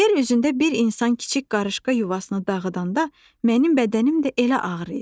Yer üzündə bir insan kiçik qarışqa yuvasını dağıdanda, mənim bədənim də elə ağrıyır.